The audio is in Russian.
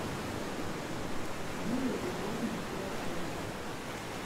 юлия петровна прохорова